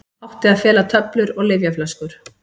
Átti að fela töflur og lyfjaflöskur